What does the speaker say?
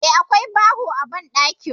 Eh, akwai bawo a banɗaki.